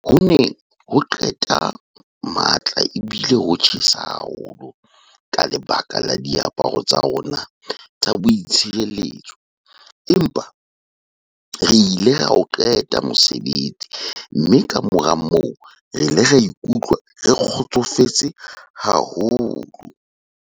"Ho ne ho qeta matla ebile ho tjhesa haholo ka lebaka la diaparo tsa rona tsa boitshireletso, empa re ile ra o qeta mosebetsi mme kamora moo re ile ra ikutlwa re kgotsofetse haholo."